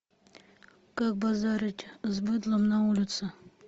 как базарить с быдлом на улице